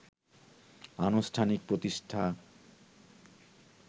আনুষ্ঠানিক প্রতিষ্ঠা